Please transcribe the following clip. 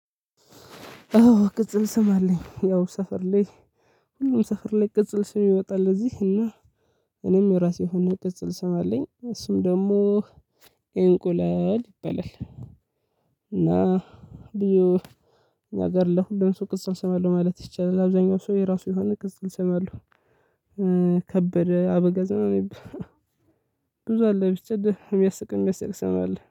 አዎ ቅጽል ስም አለኝ ያው ሰፈር ላይ ሁሉም ሰፈር ላይ ቅጽል ስም ይወጣል። እዚህ እና እኔም የራሴ የሆነ ቅጽል ስም አለኝ። እሱም ደግሞ እንቁላል ይባለል። እና እኛ ሀገርለሁሉም ሰው ቅጽል እንሰማለን ማለት ይቻላል። አብዛኛው ሰው የራሱ የሆነ ክስ ይሰማሉ። ከበደ አበጋዝ ምናምን። ብዙ አለ ቢሰጥህ የሚያስቅ የሚያስቅም ሰ ስም አለ